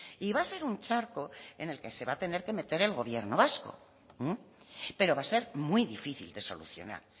y va a ser un charco en el que se va a tener que meter el gobierno vasco pero va a ser muy difícil de solucionar